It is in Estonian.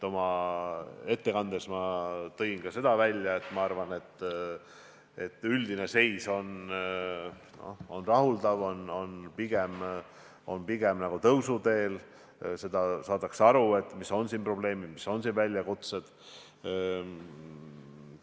Oma ettekandes ma tõin välja, et minu arvates üldine seis on rahuldav, ollakse pigem nagu tõusuteel, saadakse aru, mis on probleemid ja mis on väljakutsed.